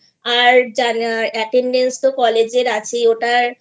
আর Attendance তো college এর আছেই ওটার